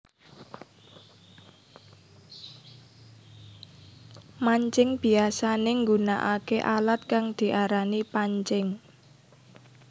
Mancing biyasané nggunakaké alat kang diarani pancing